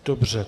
Dobře.